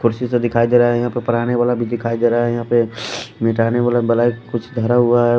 कुर्सी से दिखाई दे रहा है यहाँ पे पढ़ाने वाला भी दिखाई दे रहा है यहाँ पे मिटाने वाला ब्लैक कुछ धरा हुआ है।